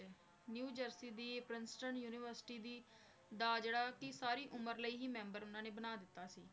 New Jersey ਦੀ, Princeton university ਦੀ ਦਾ ਜਿਹੜਾ ਕਿ ਸਾਰੀ ਉਮਰ ਲਈ ਹੀ ਮੈਂਬਰ ਉਹਨਾਂ ਨੇ ਬਣਾ ਦਿੱਤਾ ਸੀ।